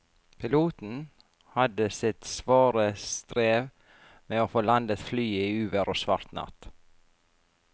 Piloten hadde sitt svare strev med å få landet flyet i uvær og svart natt.